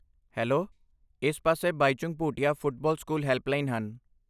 Hello, ਇਸ ਪਾਸੇ Baichung Bhutia football school helpline ਹਨ।